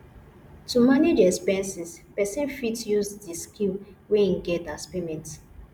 to manage expenses person fit use di skill wey im get as payment